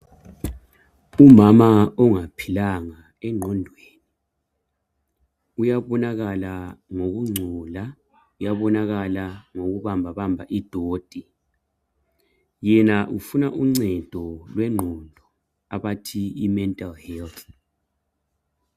Umama ongaphilanga engqondweni uyabonakala ngokungcola, uyabonakala ngokubambabamba idoti. Yena ufuna uncedo lwengqondo abathi imental health.